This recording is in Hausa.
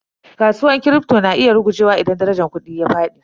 Kasuwar Kripto na iya rugujewa idan darajar kudi ta fadi.